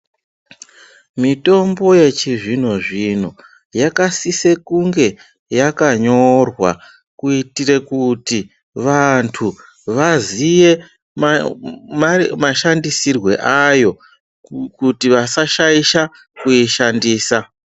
Mitombo yechizvino-zvino yakasise kunge yakanyorwa kuitire kuti vantu vaziye mashandisirwe ayo kuti asashaisha kuishandisa.